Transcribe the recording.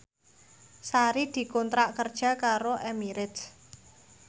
Sari dikontrak kerja karo Emirates